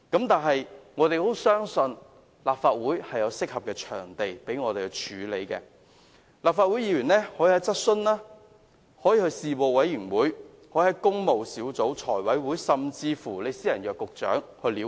但是，我們相信立法會有適當途徑讓我們跟進問題，立法會議員可以透過質詢、事務委員會、工務小組委員會、財務委員會，甚至私下約見局長了解。